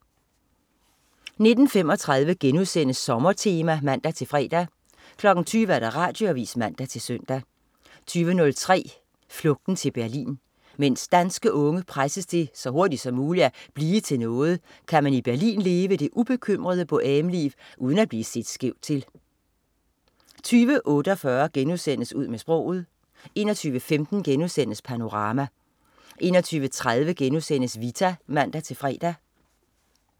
19.35 Sommertema* (man-fre) 20.00 Radioavis (man-søn) 20.03 Flugten til Berlin. Mens danske unge presses til så hurtigt som muligt at "blive til noget", kan man i Berlin leve det ubekymrede boheme-liv uden at blive set skævt til 20.48 Ud med sproget* 21.15 Panorama* 21.30 Vita* (man-fre)